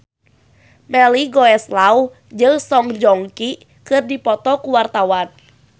Melly Goeslaw jeung Song Joong Ki keur dipoto ku wartawan